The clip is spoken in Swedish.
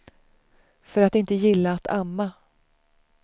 För att inte gilla att amma.